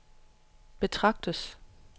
betragtes